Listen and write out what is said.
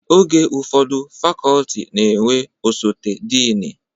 Oge ụfọdụ fakọltị na-enwe osote dịnị